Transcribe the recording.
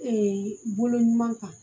bolo ɲuman kan